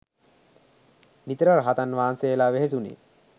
නිතර රහතන් වහන්සේලා වෙහෙසුනේ.